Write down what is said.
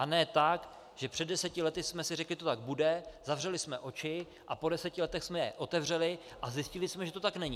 A ne tak, že před deseti lety jsme si řekli, že to tak bude, zavřeli jsme oči a po deseti letech jsme je otevřeli a zjistili jsme, že to tak není.